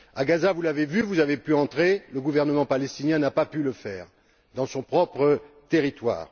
À Gaza, vous l'avez vu, vous avez pu y entrer, le gouvernement palestinien n'a pas pu, dans son propre territoire.